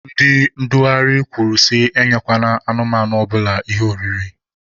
Ndị ndugharị kwuru sị enyekwana anụmanụ ọbụla ihe oriri.